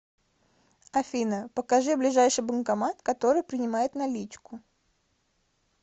афина покажи ближайший банкомат который принимает наличку